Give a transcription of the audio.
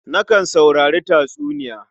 Nakan saurari tatsuniya.